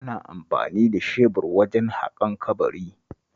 Ana amfani da shebur wajen haƙan kabari